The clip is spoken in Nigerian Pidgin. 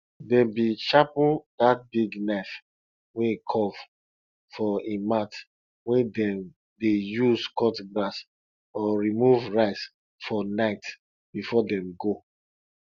dem bin sharpen dat big knife wey curve for im mouth wey dem dey use cut grass or remove rice for night before dem go